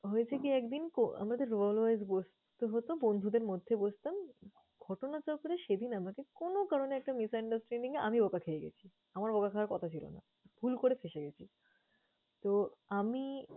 হয়েছে কি একদিন? কো~ আমরা তো roll wise বসতে হতো বন্ধুদের মধ্যে বসতাম। ঘটনাচক্রে সেদিন আমাকে কোনো কারণে একটা misunderstanding এ আমি বকা খেয়ে গেছি। আমার বকা খাওয়ার কথা ছিল না। ভুল করে ফেসে গেছি। তো আমি